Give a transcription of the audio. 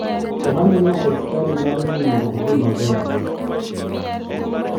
Ohandino pes chadi nyalo miyo odhi maber.